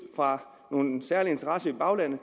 fra nogle særlige interesser i baglandet